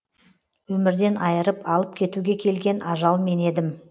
өмірден айырып алып кетуге келген ажал мен едім